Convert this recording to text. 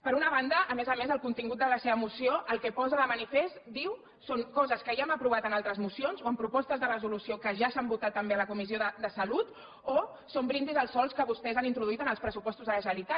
per una banda a més a més el contingut de la seva moció el que posa de manifest diu són coses que ja hem aprovat en altres mocions o en propostes de resolució que ja s’han votat també a la comissió de salut o són brindis al sol que vostès han introduït en els pressupostos de la generalitat